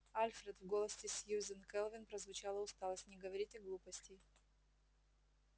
альфред в голосе сьюзен кэлвин прозвучала усталость не говорите глупостей